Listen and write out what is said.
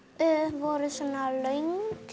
voru löng